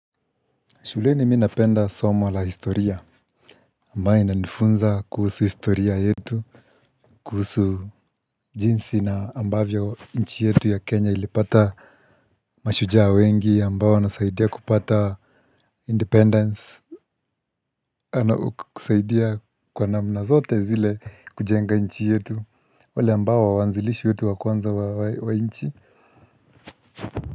Shuleni mimi napenda somo la historia ambayo inanifunza kuhusu historia yetu. Kuhusu jinsi na ambavyo nchi yetu ya Kenya ilipata mashujaa wengi ambao wanasaidia kupata independence. Wanaokusaidia kwa namna zote zile kujenga inchi yetu. Wale ambao waanzilishi wetu wa kwanza wa nchi.